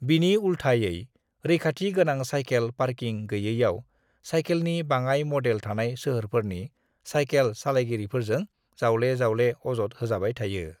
"बिनि उल्थायै, रैखाथि गोनां सायखेल पार्किं गैयैआव सायखेलनि बाङाय मदेल थानाय सोहोरफोरनि सायखेल सालायगिरिफोरजों जावले-जावले अजद होजाबाय थायो।"